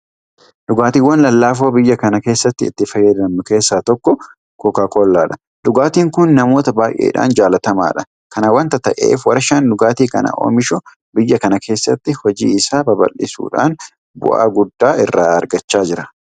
Dhugaatiiwwan lallaafoo biyya kana keessatti itti fayyadamnu keessaa tokko Kookaakollaadha. Dhugaatiin kun namoota baay'eedhaan jaalatamaadha. Kana waanta ta'eef warshaan dhugaatii kana oomishu biyya kana keessatti hojii isaa babal'isuudhaan bu'aa guddaa irraa argachaa jira.